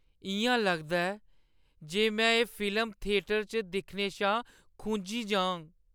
इ'यां लगदा ऐ जे में एह् फिल्म थियेटर च दिक्खने शा खुंझी जाङ।